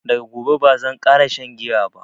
Daga gobe bazan ƙara shan giya ba